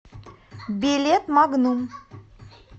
билет магнум